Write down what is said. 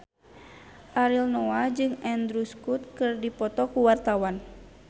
Ariel Noah jeung Andrew Scott keur dipoto ku wartawan